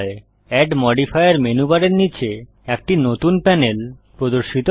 add modifier menu বারের নীচে একটি নতুন প্যানেল প্রদর্শিত হয়